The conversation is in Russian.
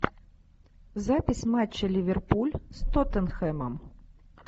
запись матча ливерпуль с тоттенхэмом